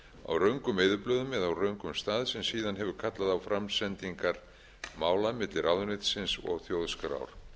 á röngum eyðublöðum eða á röngum stað sem síðan hefur kallað á framsetningar mála milli ráðuneytisins og þjóðskrár